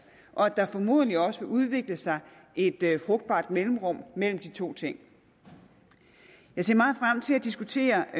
og at der formodentlig også vil udvikle sig et frugtbart mellemrum mellem de to ting jeg ser meget frem til at diskutere